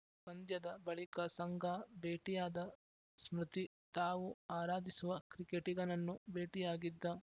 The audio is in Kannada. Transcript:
ಪಂದ್ಯದ ಬಳಿಕ ಸಂಗಾ ಭೇಟಿಯಾದ ಸ್ಮೃತಿ ತಾವು ಆರಾಧಿಸುವ ಕ್ರಿಕೆಟಿಗನನ್ನು ಭೇಟಿಯಾಗಿದ್ದ